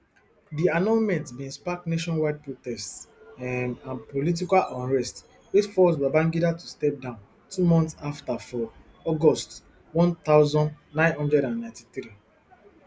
di annulment bin spark nationwide protests um and political unrest wey force babangida to step down two months afta for august one thousand, nine hundred and ninety-three